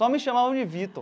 Só me chamavam de Vitor.